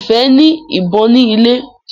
Ifẹ ní ìbọn ni ilè.